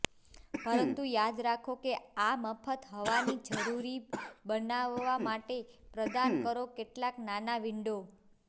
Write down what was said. પરંતુ યાદ રાખો કે આ મફત હવાની જરૂરી બનાવવા માટે પ્રદાન કરો કેટલાક નાના વિન્ડો